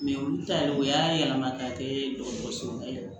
olu ta yɛrɛ o y'a yɛlɛma ka kɛ dɔgɔtɔrɔsow la yɛrɛ